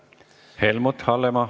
Helmut Hallemaa.